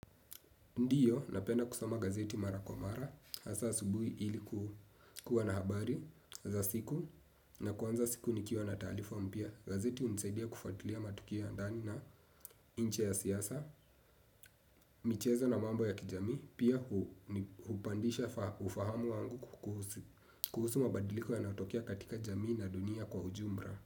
Ndiyo, napenda kusoma gazeti Mara Kwa mara, hasa asubuhi ili kuwa na habari za siku, na kuanza siku nikiwa na taarifa mpya. Gazeti unisaidia kufuatilia matukio ya ndani na nje ya siasa, michezo na mambo ya kijamii, pia hupandisha ufahamu wangu kuhusu mabadiliko yanayotokea katika jamii na dunia kwa ujumla.